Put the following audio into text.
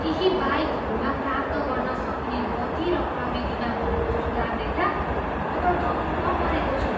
केही बाइकहरूमा प्राप्त गर्न सकिने गति र प्रविधिमा भएको सुधार देख्दा म त दङ्ग परेको छु।